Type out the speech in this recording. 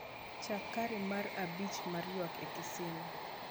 chak kare mar abich mar ywak e kisima